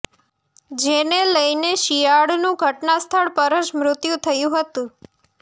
જેને લઇને શિયાળનું ઘટનાસ્થળ પર જ મૃત્યું થયું હતું